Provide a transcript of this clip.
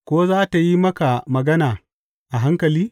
Ko za tă yi maka magana a hankali?